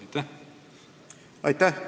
Aitäh!